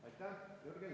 Aitäh!